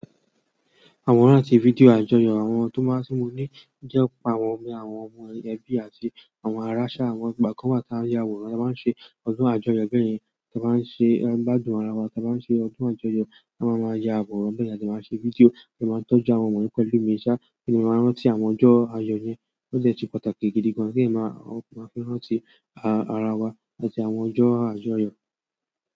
Àwọn rántí fídíò àjọyọ̀ àwọn tó máa sínmo ní jẹ́ pa àwọn ọmọ ẹbí àti àwọn ará ṣá àwọn ìgbà kan wa tí a ń ya àwòrán, a máa ń ṣe ọdún àjọyọ̀ bẹ́ẹ̀ yẹn, tí a bá ń ṣe ẹ̀ gbajúmọ̀ ara wa tí a bá ń ṣe ọdún àjọyọ̀, a máa máa ya àwòrán bẹ́ẹ̀ yẹn àti máa ṣe fídíò, ó máa ń tọ́jú àwọn ọmọ nípẹ́lú ìmúṣa kí wọ́n máa rántí àwọn ọjọ́ àjọyọ̀ yẹn, ó sì jẹ́ pàtàkì gidi gan tí ẹ̀ máa rántí àrà wà àti àwọn ọjọ́ àjọyọ̀.